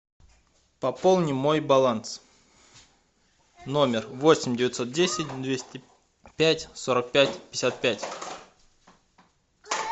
пополни мой баланс номер восемь девятьсот десять двести пять сорок пять пятьдесят пять